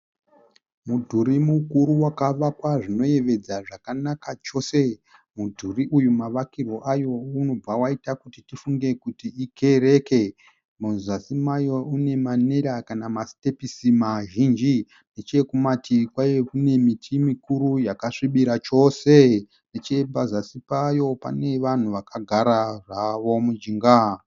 Mudhuri mukuru wakavawakwa zvinoyevedza zvakanaka chose. Mudhuri uyu mavakirwe ayo unobva waita kuti tifunge kuti ikereke. Muzasi mayo une manera kana masitepisi mazhinji . Nechekumativi kwayo kune miti mikuru yakasvibira chose. Nechepazasi payo pane vanhu vakagara zvawo mujinga.